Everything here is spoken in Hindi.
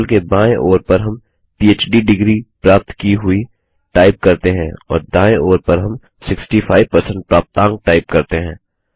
टेबल के बायें ओर पर हम पहड़ डिग्री प्राप्त की हुई टाइप करते हैं और दायें ओर पर हम 65 प्राप्तांक टाइप करते हैं